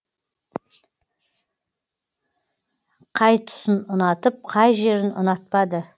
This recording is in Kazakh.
қай тұсын ұнатып қай жерін ұнатпады